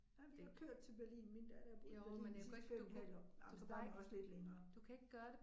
Nej vi har kørt til Berlin min datter har boet i Berlin de sidste 5 et halvt år. Nej men der er nu også lidt længere